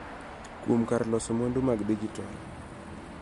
Kuom kar loso mwandu mag dijitol.